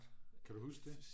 kan du huske det?